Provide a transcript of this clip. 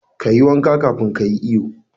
Kayi wanka kafun ka yi iyo.